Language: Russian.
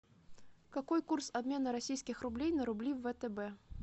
какой курс обмена российских рублей на рубли втб